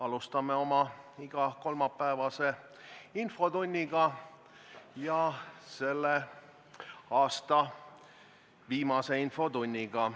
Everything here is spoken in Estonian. Alustame igakolmapäevast infotundi, selle aasta viimast infotundi.